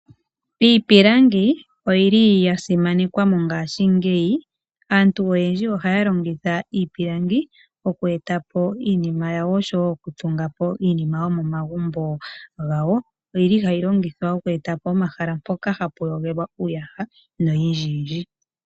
Iipilangi oyili yasimanekwa mongaashingeyi aantu oyendji ohaya longitha iipilangi okweetapo iinima yawo osho woo okutungapo iinima yomomagumbo gawo oyili hayi longithwa okweetapo omahala mpoka hapu yogelwa uuyasha noyindji yindji.